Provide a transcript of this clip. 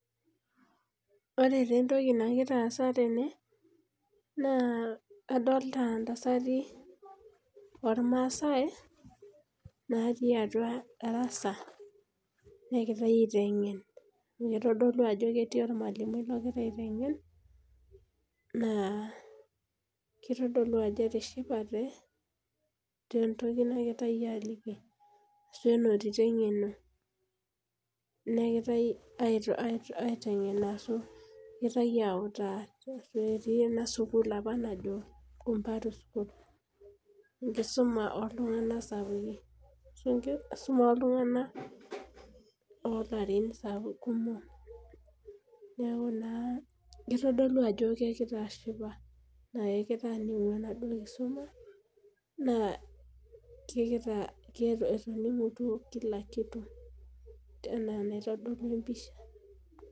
Ore taa entoki nagira aasa tene. naa adolta ntasati oormaasae natii atua darasa, naagirae aitengen. naitodolu ako ketii olmalimui, logira aitengen. naa kitodolu ajo etishipate tentoki nagirae aaliki. nenotito eng'eno. negirae aitengen ashu egirae autaa. etii ena sukuul apa najo enkumparo sukuul . enkisuma ooltunganak Sapukin. enkisuma ooltunganak oo larin kumok. newku kitodolu ajo kegira ashipa. naa kegira aningu enaduoo kisuma. naa etooruooki duo Kila kitu. Enaa enaitodolu empisha.